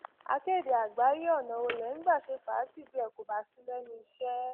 akéde àgbáyé ọnà wo lẹ ń gbà ṣe fàájì bí ẹ kò bá sí lẹnu iṣẹ